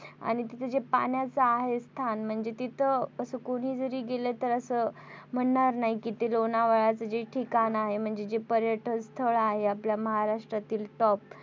आणि तिथे जे पान्याच आहे स्थान म्हणजे तिथं असं कोणी जरी असं गेलं तर असं म्हणणार नाही के ते लोणावळ्याचं जे ठिकाण आहे म्हणजे ते पर्यटन स्थळ आहे आपल्या महाराष्ट्रातील top